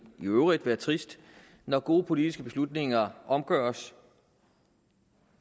i øvrigt være trist når gode politiske beslutninger omgøres